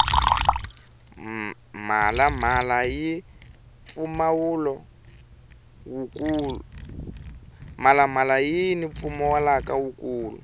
mhala mhala yini mpfumawulo wu kulu